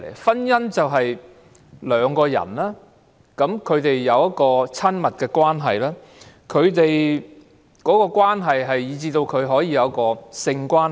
婚姻就是兩個人有親密關係，以至他們可以有性關係。